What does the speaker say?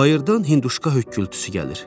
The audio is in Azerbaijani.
Bayırdan Hündüşka höykkültüsü gəlir.